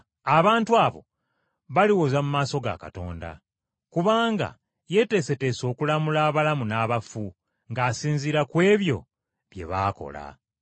Abantu abo baliwoza mu maaso ga Katonda. Kubanga yeeteeseteese okulamula abalamu n’abafu ng’asinziira ku ebyo bye baakola.